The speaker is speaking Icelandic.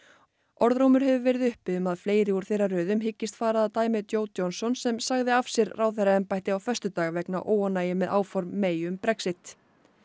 orðrómur hefur verið uppi um að fleiri úr þeirra röðum hyggist fara að dæmi Jo Johnson sem sagði af sér ráðherraembætti á föstudag vegna óánægju með áform um Brexit